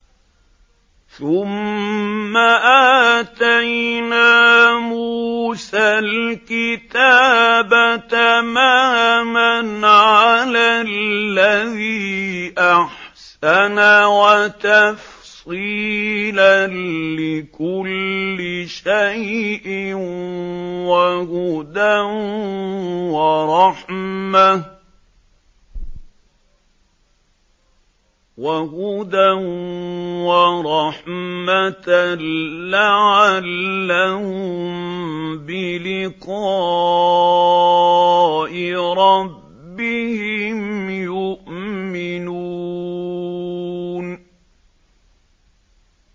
ثُمَّ آتَيْنَا مُوسَى الْكِتَابَ تَمَامًا عَلَى الَّذِي أَحْسَنَ وَتَفْصِيلًا لِّكُلِّ شَيْءٍ وَهُدًى وَرَحْمَةً لَّعَلَّهُم بِلِقَاءِ رَبِّهِمْ يُؤْمِنُونَ